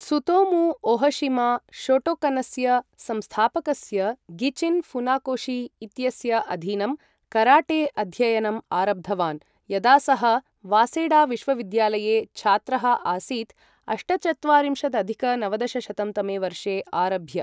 Tsutomu Ohshima शोटोकनस्य संस्थापकस्य Gichin Funakoshi इत्यस्य अधीनं कराटे अध्ययनं आरब्धवान्, यदा सः वासेडा विश्वविद्यालये छात्रः आसीत्, अष्टचत्वारिंशदधिक नवदशशतं तमे वर्षे आरभ्य ।